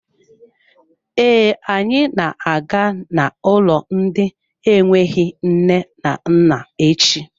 Ee, anyị na-aga n'ụlọ ndị enweghị nne na nna echi.